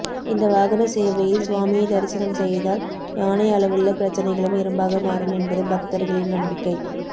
இந்த வாகன சேவையில் சுவாமியை தரிசனம் செய்தால் யானை அளவுள்ள பிரச்னைகளும் எறும்பாக மாறும் என்பது பக்தர்களின் நம்பிக்கை